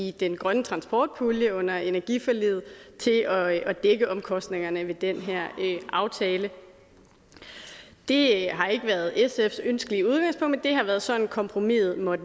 i den grønne transportpulje under energiforliget til at dække omkostningerne ved den her aftale det har ikke været sfs ønskelige udgangspunkt men det har været sådan kompromiset måtte